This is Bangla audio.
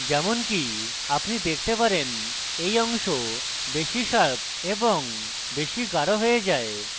যেমনকি আপনি দেখতে পারেন এই অংশ বেশী sharper এবং বেশী গাঢ় হয়ে যায়